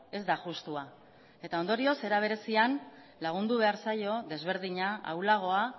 ez da justua eta ondorioz era berezian lagundu behar zaio desberdina ahulagoa